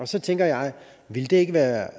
så tænker jeg ville det ikke være